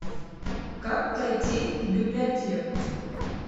как пройти в библиотеку